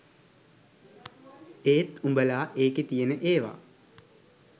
ඒත් උඹලා ඒකෙ තියෙන ඒව